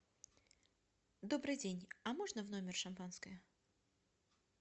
добрый день а можно в номер шампанское